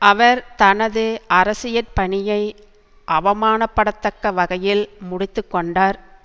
அவர் தனது அரசியற் பணியை அவமானப்படத்தக்க வகையில் முடித்து கொண்டார்